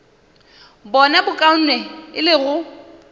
bona bokaone e le go